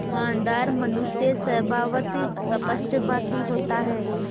ईमानदार मनुष्य स्वभावतः स्पष्टभाषी होता है